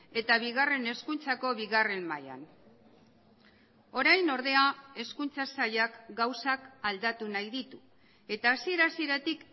eta bigarren hezkuntzako bigarren mailan orain ordea hezkuntza sailak gauzak aldatu nahi ditu eta hasiera hasieratik